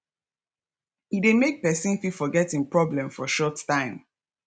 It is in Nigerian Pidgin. e de make persin fit forget im problems for short time